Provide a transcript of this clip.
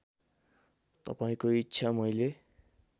तपाईँको इच्छा मैले